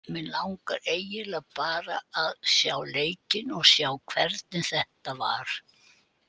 Mig langar eiginlega bara að sjá leikinn og sjá hvernig þetta var.